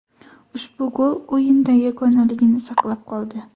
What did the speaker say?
Ushbu gol o‘yinda yagonaligini saqlab qoldi.